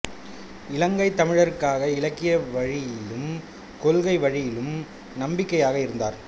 இலங்கை தமிழருக்காக இலக்கிய வழியிலும் கொள்கை வழியிலும் நம்பிக்கையாக இருந்தார்